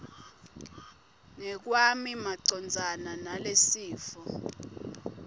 ngekwami macondzana nalesifo